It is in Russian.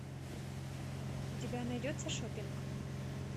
у тебя найдется шопинг